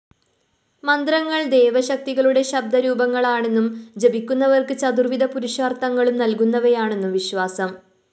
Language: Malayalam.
മന്ത്രങ്ങള്‍ ദേവശക്തികളുടെ ശബ്ദരൂപങ്ങളാണെന്നും ജപിക്കുന്നവര്‍ക്കു ചതുര്‍വിധ പുരുഷാര്‍ത്ഥങ്ങളും നല്‍കുന്നവയാണെന്നും വിശ്വാസം